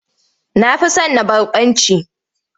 Na fi son na barkwanci.